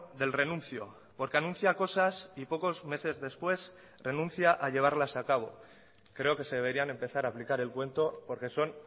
del renuncio porque anuncia cosas y pocos meses después renuncia a llevarlas a cabo creo que se deberían empezar a aplicar el cuento porque son